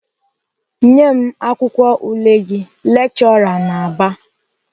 "Nye m akwụkwọ ule gị!" Lechọra na-aba.